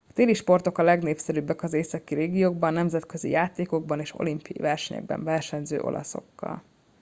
a téli sportok a legnépszerűbbek az északi régiókban nemzetközi játékokban és olimpiai eseményekben versenyző olaszokkal